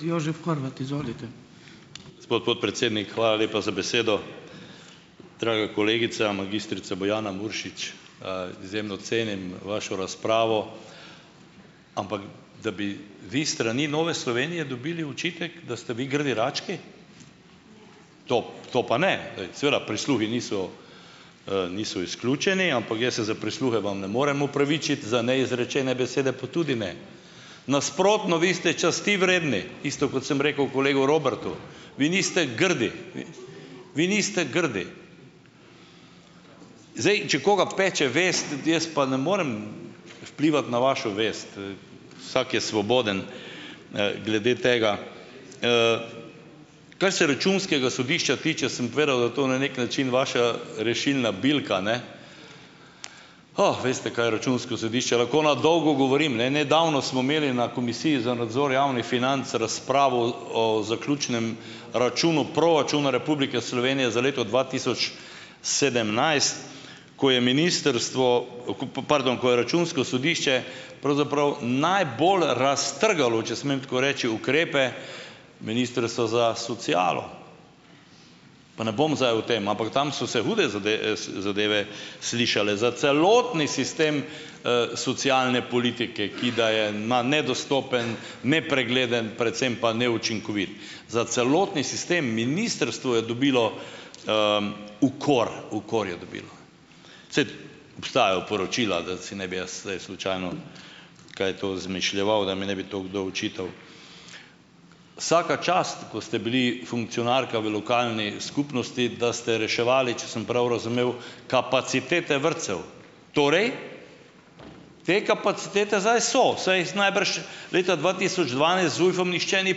Gospod podpredsednik, hvala lepa za besedo. Draga kolegica, magistrica Bojana Muršič, izjemno cenim vašo razpravo. Ampak da bi vi s strani Nove Slovenije dobili očitek, da ste vi grdi rački? To, to pa ne. Glej, seveda prisluhi niso, niso izključeni, ampak jaz se za prisluhe vam ne morem opravičiti, za neizrečene besede pa tudi ne. Nasprotno, vi ste časti vredni, isto, kot sem rekel kolegu Robertu. Vi niste grdi, vi, vi niste grdi. Zdaj, če koga peče vest, jaz pa ne morem vplivati na vašo vest. Vsak je svoboden, glede tega. Kar se računskega sodišča tiče, sem povedal, da to na neki način vaša rešilna bilka, ne? Oh, veste, kaj je računsko sodišče, lahko na dolgo govorim, ne. Nedavno smo imeli na komisiji za nadzor javnih financ razpravo o zaključnem računu proračuna Republike Slovenije za leto dva tisoč sedemnajst, ko je ministrstvo, okupo, pardon, ko je računsko sodišče pravzaprav najbolj raztrgalo, če smem tako reči, ukrepe ministrstva za socialo. Pa ne bom zdaj o tem, ampak tam so se hude se, zadeve slišale, za celotni sistem socialne politike, ki da je na nedostopen, nepregleden, predvsem pa neučinkovit, za celotni sistem ministrstvo je dobilo, ukor. Ukor je dobilo. Ced. Obstajajo poročila, da si ne bi jaz zdaj slučajno kaj to izmišljeval, da mi ne bi to kdo očital. Vsaka čast, ko ste bili funkcionarka v lokalni skupnosti, da ste reševali, če sem prav razumel, kapacitete vrtcev. Torej, te kapacitete zdaj so, saj jih najbrž leta dva tisoč dvanajst z ZUJF-om nihče ni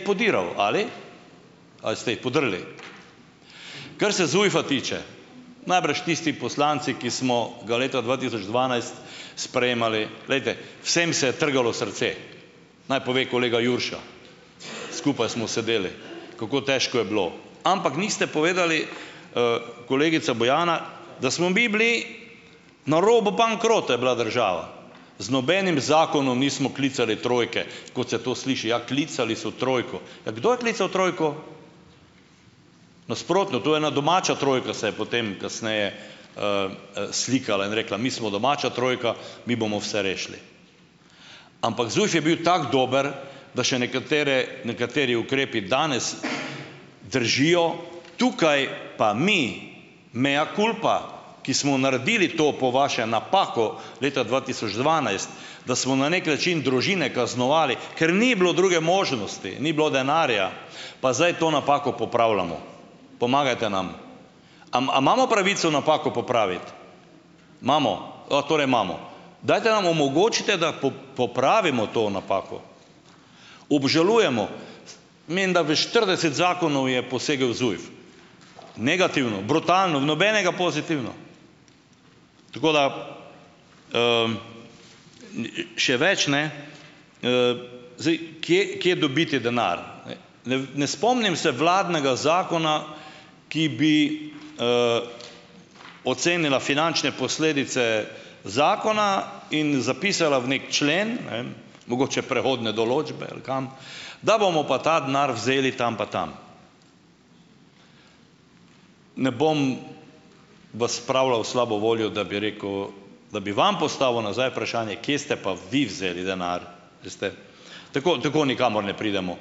podiral, ali? Ali ste jih podrli? Kar se ZUJF-a tiče, najbrž tisti poslanci, ki smo ga leta dva tisoč dvanajst sprejemali, glejte, vsem se je trgalo srce. Naj pove kolega Jurša, skupaj smo sedeli, kako težko je bilo. Ampak niste povedali, kolegica Bojana, da smo mi bili, na robu bankrota je bila država. Z nobenim zakonom nismo klicali trojke, kot se to sliši, ja, klicali so trojko. Ja, kdo je klical trojko? Nasprotno, to je, ena domača trojka se je potem kasneje, slikala in rekla, mi smo domača trojka, mi bomo vse rešili. Ampak ZUJF je bil tako dober, da še nekatere, nekateri ukrepi danes držijo, tukaj pa mi mea culpa, ki smo naredili to, po vaše, napako, leta dva tisoč dvanajst, da smo na neki način družine kaznovali, ker ni bilo druge možnosti, ni bilo denarja, pa zdaj to napako popravljamo. Pomagajte nam. Am a imamo pravico napako popraviti? Imamo. torej imamo. Dajte nam omogočite, da popravimo to napako. Obžalujemo, menda v štirideset zakonov je posegel ZUJF. Negativno, brutalno, v nobenega pozitivno. Tako da, Še več, ne, zdaj, kje, kje dobiti denar? Ne ... Ne v, ne spomnim se vladnega zakona, ki bi, ocenila finančne posledice zakona in zapisala v neki člen, ne, mogoče prehodne določbe ali kam, da bomo pa ta denar vzeli tam pa tam. Ne bom vas spravljal v slabo voljo, da bi rekel, da bi vam postavil nazaj vprašanje, kje ste pa vi vzeli denar. Veste ... Tako, tako nikamor ne pridemo.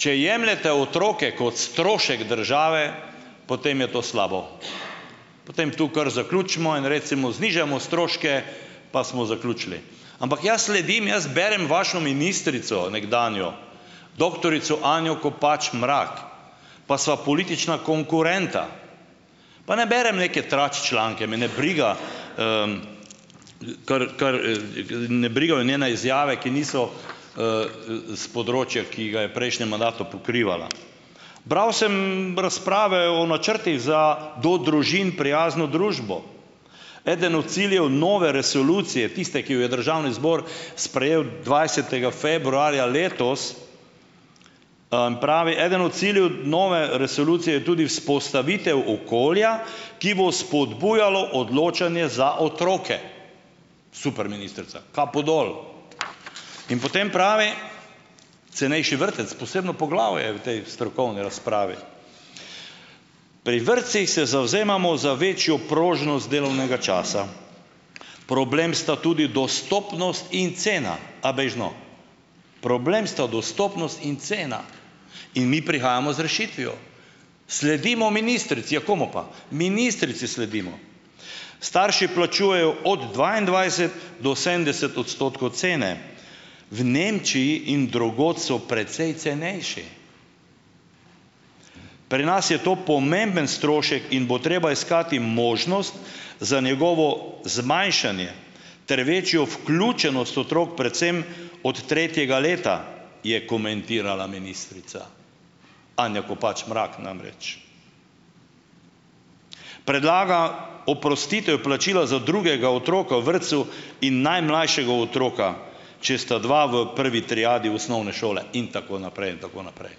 Če jemljete otroke kot strošek države, potem je to slabo, potem tu kar zaključimo in recimo, znižajmo stroške, pa smo zaključili. Ampak jaz sledim, jaz berem vašo ministrico, nekdanjo, doktorico Anjo Kopač Mrak, pa sva politična konkurenta. Pa ne berem neke trač članke, me ne briga, kar, kar, ga ne brigajo me njene izjave, ki niso, s področja, ki ga je prejšnjem mandatu pokrivala. Bral sem razprave o načrtih za do družin prijazno družbo. Eden od ciljev nove resolucije, tiste, ki jo je državni zbor sprejel dvajsetega februarja letos, pravi, eden od ciljev nove resolucije je tudi vzpostavitev okolja, ki bo spodbujalo odločanje za otroke. Super ministrica, kapo dol. In potem pravi, cenejši vrtec, posebno poglavje, v tej strokovni razpravi. Pri vrtcih se zavzemamo za večjo prožnost delovnega časa. Problem sta tudi dostopnost in cena, a bejž no, problem sta dostopnost in cena in mi prihajamo z rešitvijo, sledimo ministrici. Ja komu pa? Ministrici sledimo. Starši plačujejo od dvaindvajset do sedemdeset odstotkov cene. V Nemčiji in drugod so precej cenejši. Pri nas je to pomemben strošek in bo treba iskati možnost za njegovo zmanjšanje ter večjo vključenost otrok, predvsem ot tretjega leta, je komentirala ministrica, Anja Kopač Mrak namreč. Predlaga oprostitev plačila za drugega otroka v vrtcu in najmlajšega otroka, če sta dva v prvi triadi osnovne šole in tako naprej, in tako naprej.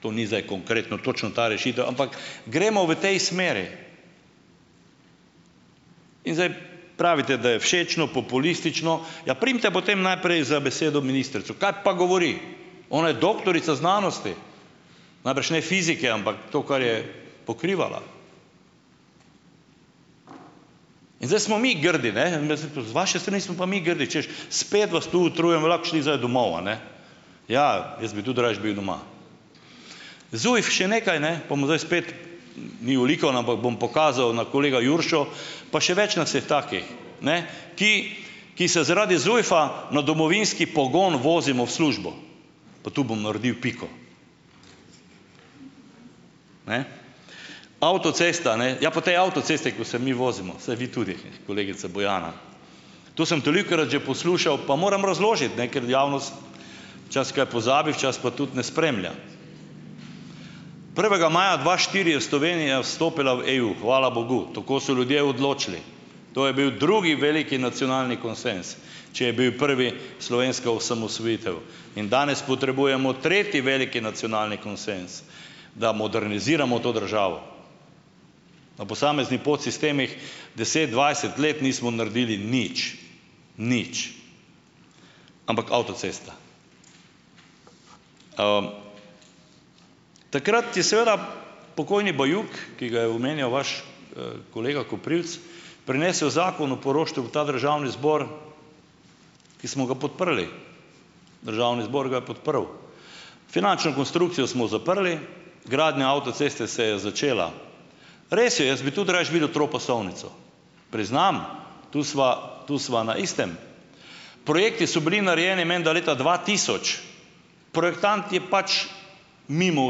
To ni zdaj konkretno točno ta rešitev, ampak, gremo v tej smeri. In zdaj, pravite, da je všečno, populistično. Ja, primite potem najprej za besedo ministrico, kaj pa govori? Ona je doktorica znanosti. Najbrž ne fizike, ampak to, kar je pokrivala. In zdaj smo mi grdi, ne, meni se to, z vaše strani smo pa mi grdi, češ, spet vas tu utrujamo, lahko bi šli zdaj domov, a ne. Ja, jaz bi tudi rajši bil doma. ZUJF še nekaj, ne, pa bom zdaj spet, ni olikano, ampak bom pokazal, na kolega Juršo pa še več nas je takih, ne, ki ki se zaradi ZUJF-a na domovinski pogon vozimo v službo. Pa tu bom naredil piko. Ne? Avtocesta, ne, ja, po tej avtocesti, ko se mi vozimo, saj vi tudi, kolegica Bojana, to sem tolikokrat že poslušal, pa moram razložiti, ne, ker javnost včasih kaj pozabi, včasih pa tudi ne spremlja. Prvega maja dva štiri je Slovenija vstopila v EU, hvala bogu, tako so ljudje odločili, to je bil drugi veliki nacionalni konsenz, če je bil prvi slovenska osamosvojitev, in danes potrebujemo tretji veliki nacionalni konsenz, da moderniziramo to državo. Na posamezni podsistemih deset, dvajset let nismo naredili nič. Nič. Ampak avtocesta. Takrat je seveda pokojni Bajuk, ki ga je omenjal vaš, kolega Koprivec, prinesel Zakon o poroštvu v ta državni zbor, ki smo ga podprli. Državni zbor ga je podprl. Finančno konstrukcijo smo zaprli. Gradnja avtoceste se je začela. Res je, jaz bi tudi rajši videl tropasovnico. Priznam, tu sva, tu sva na istem. Projekti so bili narejeni menda leta dva tisoč. Projektant je pač, mimo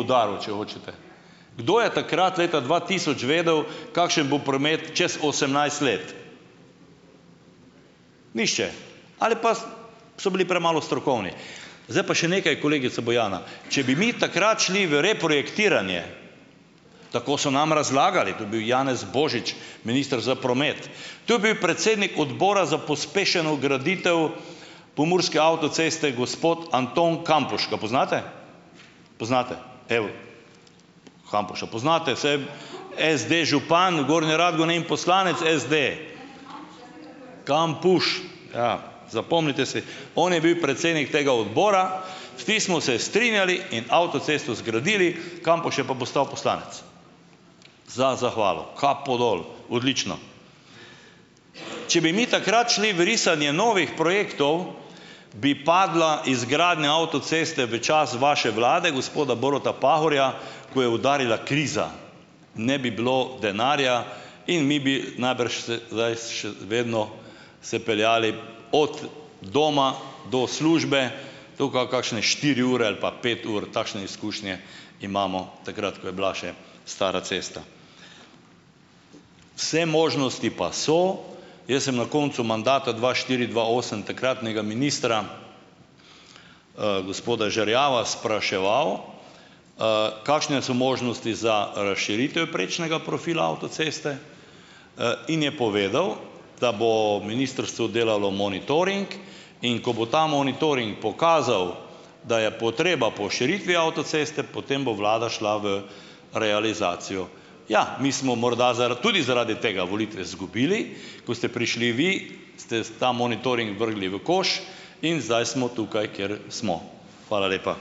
udaril, če hočete. Kdo je takrat, leta dva tisoč vedel, kakšen bo promet čas osemnajst let? Nihče. Ali pa, s so bili premalo strokovni. Zdaj pa še nekaj, kolegica Bojana. Če bi mi takrat šli v reprojektiranje, tako so nam razlagali, ko je bil Janez Božič minister za promet, tu bil predsednik odbora za pospešeno graditev pomurske avtoceste, gospod Anton Kampuš, ga poznate? Poznate. Evo. Kampuša poznate, saj je SD župan Gornje Radgone in poslanec SD. Kampuš, ja, zapomnite si. On je bil predsednik tega odbora, vsi smo se strinjali in avtocesto zgradili, Kampuš je pa postal poslanec, za zahvalo, kapo dol, odlično. Če bi mi takrat šli v risanje novih projektov, bi padla izgradnja avtoceste v čas vaše vlade, gospoda Boruta Pahorja, ko je udarila kriza. Ne bi bilo denarja in mi bi najbrž se zdaj še vedno se peljali od doma do službe tukaj kakšne štiri ure ali pa pet ur. Takšne izkušnje imamo, takrat, ko je bila še stara cesta. Vse možnosti pa so, jaz sem na koncu mandata dva štiri-dva osem takratnega ministra, gospoda Žerjava spraševal, kakšne so možnosti za razširitev prečnega profila avtoceste, in je povedal, da bo ministrstvo delalo monitoring, in ko bo ta monitoring pokazal, da je potreba po širitvi avtoceste, potem bo vlada šla v realizacijo. Ja, mi smo morda zaradi, tudi zaradi tega volitve izgubili, ko ste prišli vi, ste sta monitoring vrgli v koš in zdaj smo tukaj, kjer smo. Hvala lepa.